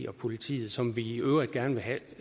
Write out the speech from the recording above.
og politiet som vi i øvrigt gerne vil have